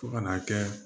Fo ka n'a kɛ